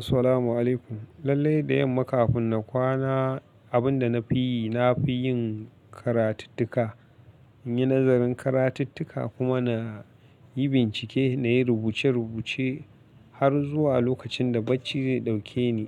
Assalamu alaikum. Lallai da yamma kafin na kwana, abin da na fi yi na fi yin karatittuka, in yi nazarin karatittuka kuma na yi bincike na yi rubuce-rubuce har zuwa lokacin da bacci zai ɗauke ni.